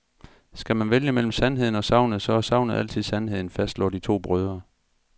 Skal man vælge mellem sandheden og sagnet, så er sagnet altid sandheden, fastslår de to brødre.